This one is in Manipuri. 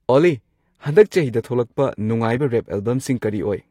ꯑꯣꯜꯂꯤ ꯍꯟꯗꯛ ꯆꯍꯤꯗ ꯊꯣꯛꯂꯛꯄ ꯅꯨꯡꯉꯥꯏꯕ ꯔꯦꯞ ꯑꯦꯜꯕꯝꯁꯤꯡ ꯀꯔꯤ ꯑꯣꯏ